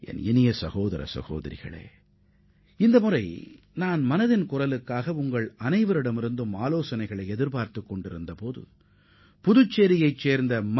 எனதருமை சகோதர சகோதரிகளே இன்றைய மனதின் குரல் நிகழ்ச்சிக்கு நீங்கள் தெரிவித்த ஆலோசனைகளை பார்த்த போது புதுச்சேரியைச் சேர்ந்த திரு